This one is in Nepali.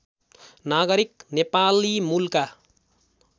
नगारिक नेपाली मुलका